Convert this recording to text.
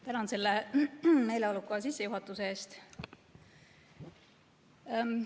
Tänan selle meeleoluka sissejuhatuse eest!